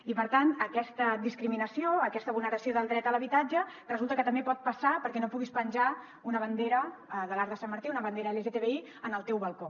i per tant aquesta discriminació aquesta vulneració del dret a l’habitatge resulta que també pot passar pel fet que no puguis penjar una bandera de l’arc de sant martí una bandera lgtbi en el teu balcó